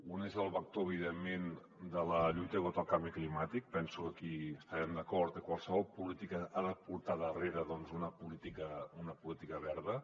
un és el vector evidentment de la lluita contra el canvi climàtic penso que aquí devem estar d’acord que qualsevol política ha de portar darrere una política verda